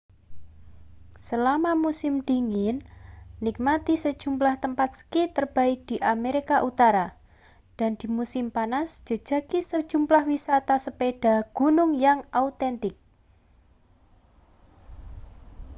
selama musim dingin nikmati sejumlah tempat ski terbaik di amerika utara dan di musim panas jajaki sejumlah wisata sepeda gunung yang autentik